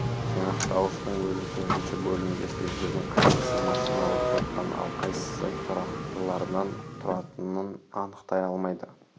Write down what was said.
жинақтауыштың өзі төртінші бөлімде сөздердің қайсысы машиналық кодтан ал қайсысы тұрақтылардан тұратынын анықтай алмайды